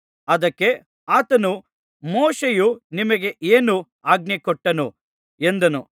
ಅದಕ್ಕೆ ಆತನು ಮೋಶೆಯು ನಿಮಗೆ ಏನು ಆಜ್ಞೆ ಕೊಟ್ಟನು ಎಂದನು